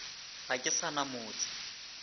ga ke sa na motse